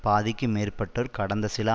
பாதிக்கு மேற்பட்டோர் கடந்த சில